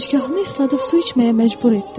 Gicgahını isladıb su içməyə məcbur etdim.